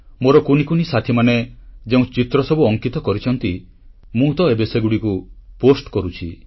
ମୋର କୁନି କୁନି ସାଥିମାନେ ଯେଉଁ ଚିତ୍ରସବୁ ଅଙ୍କିତ କରିଛନ୍ତି ମୁଁ ତ ଏବେ ସେଗୁଡ଼ିକୁ ପୋଷ୍ଟ କରୁଛି